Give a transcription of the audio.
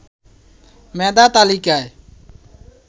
মেধা তালিকায়